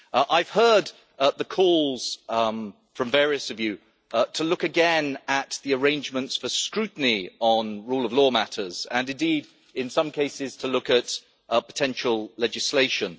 I have heard the calls from several of you to look again at the arrangements for scrutiny on rule of law matters and indeed, in some cases, to look at potential legislation.